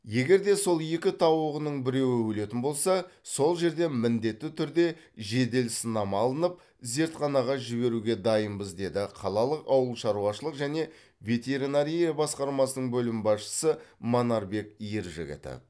егер де сол екі тауығының біреуі өлетін болса сол жерден міндетті түрде жедел сынама алынып зертханаға жіберуге дайынбыз деді қалалық ауылшаруашылық және ветеренария басқармасының бөлім басшысы манарбек ержігітов